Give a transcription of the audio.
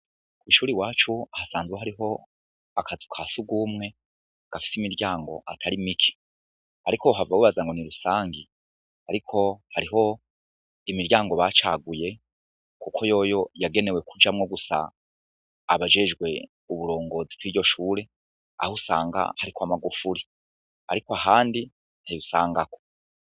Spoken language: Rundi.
Kw'ishure iwacu hasanzwe hariho akazu ka sugumwe, gafise imiryango atari mike, ariko uhava wibaza ngo ni rusangi, ariko hariho imiryango bacaguye kuko yoyo yagenewe kujamwo gusa abajejwe uburongozi biryo shure, aho usanga hariko amagufuri, ariko ahandi ntayo usangaho.